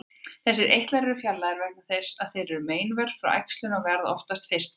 Þessir eitlar eru fjarlægðir vegna þess að meinvörp frá æxlinu verða oftast fyrst þar.